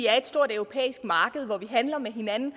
er et stort europæisk marked hvor vi handler med hinanden